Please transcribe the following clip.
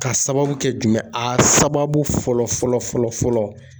Ka sababu kɛ jumɛn ye? A sababu fɔlɔ fɔlɔ fɔlɔ